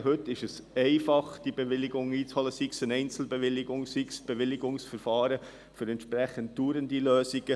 Heute ist es einfach, diese Bewilligungen einzuholen, sei es eine Einzelbewilligung, sei es mit einem Bewilligungsverfahren für entsprechende dauernde Lösungen.